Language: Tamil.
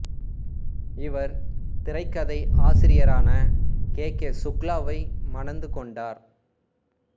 இவர் திரைக்கதை ஆசிரியரான கே கே சுக்லாவை மணந்து கொண்டார்